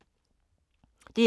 DR2